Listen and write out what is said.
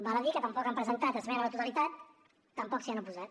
val a dir que tampoc han presentat esmena a la totalitat tampoc s’hi han oposat